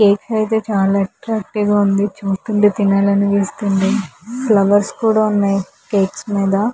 ఈ కేక్ అయితే చాలా అట్రక్టివ్ గా ఉంది. చూస్తుంటే తినాలనిపిస్తుంది ఫ్లవర్స్ కూడా ఉన్నాయి కేక్ మీద --